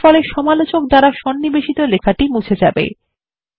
এরফলে সমালোচক দ্বারা সন্নিবেশিত লেখাটি মুছে যাবে